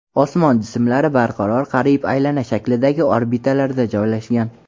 Osmon jismlari barqaror, qariyb aylana shaklidagi orbitalarda joylashgan.